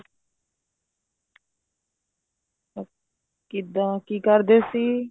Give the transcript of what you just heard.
ਕਿੱਦਾਂ ਕੀ ਕਰਦੇ ਸੀ